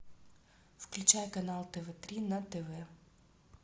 включай канал тв три на тв